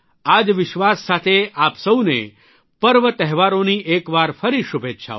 આ જ વિશ્વાસ સાથે આપ સૌને પર્વ તહેવારોની એકવાર ફરી શુભેચ્છાઓ